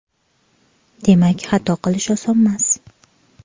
Demak, xato qilish osonmas.